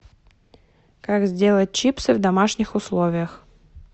как сделать чипсы в домашних условиях